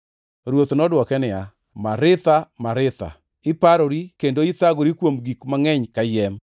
Ruoth nodwoke niya, “Maritha, Maritha, iparori kendo ithagori kuom gik mangʼeny kayiem,